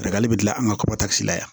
bɛ dilan an ka la yan